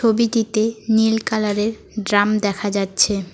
ছবিটিতে নীল কালারের ড্রাম দেখা যাচ্ছে।